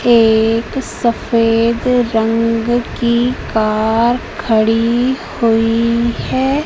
एक सफेद रंग की कार खड़ी हुई है।